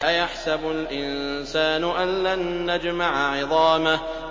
أَيَحْسَبُ الْإِنسَانُ أَلَّن نَّجْمَعَ عِظَامَهُ